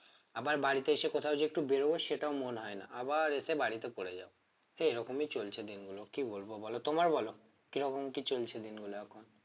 আমার বাড়িতে এসে কোথাও যে একটু বেরোবো সেটাও মন হয় না আবার এসে বাড়িতে পড়ে যাও তো এইরকমই চলছে দিনগুলো কি বলব বলো তোমার বলো কি রকম কি চলছে দিনগুলো?